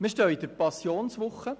Wir stehen in der Passionswoche.